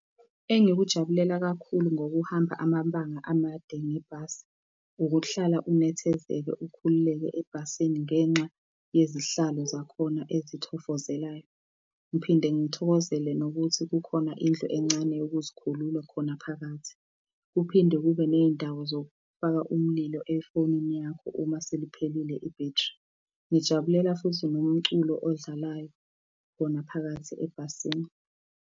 Engikujabulela kakhulu ngokuhamba amabanga amade ngebhasi, ukuhlala unethezeke, ukhululeke ebhasini ngenxa yezihlalo zakhona ezithofozelayo. Ngiphinde ngithokozele nokuthi kukhona indlu encane yokuzikhulula khona phakathi. Kuphinde kube ney'ndawo zokufaka umlilo efonini yakho uma seliphelile ibhethri. Ngijabulela futhi nomculo odlalayo khona phakathi ebhasini.